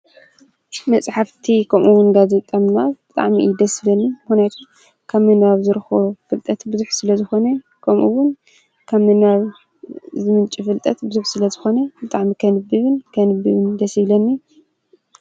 መፅሓፍቲ ከምኡ እዉን ጋዜጣ ምንባብ ብጣዕሚ እዩ ደስ ዝብለኒ ምክንያት ካብ ምንባብ ዝረክቦ ፍልጠት ብዙሕ ስለ ዝኮነ ከምኡ እዉን ካብ ምንባብ ዝምንጪ ፍልጠት ብዙሕ ስለዝኮነ ብጣዕሚ ከንብብን ክንብብን ደስ ይብለኒ።